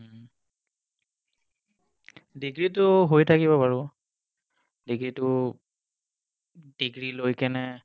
হম degree তো হৈ থাকিব বাৰু degree তো degree লৈ কেনে